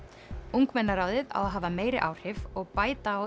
ungmennaráðið á að hafa meiri áhrif og bæta á